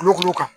Kulukoro kan